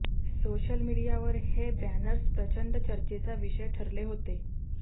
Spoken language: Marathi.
सोशल मीडियावर हे बॅनर्स प्रचंड चर्चेचा विषय ठरले होते